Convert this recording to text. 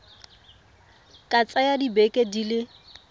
ka tsaya dibeke di le